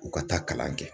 U ka taa kalan kɛ